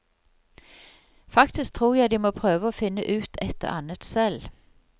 Faktisk tror jeg de må prøve å finne ut et og annet selv.